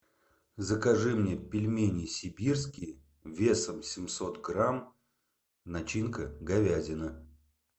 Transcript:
закажи мне пельмени сибирские весом семьсот грамм начинка говядина